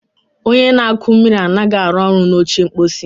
Onye na-akụ mmiri anaghị arụ ọrụ na oche mposi.